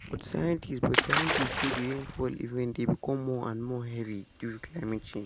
di annual united nations nations general assembly week dey always dey fast.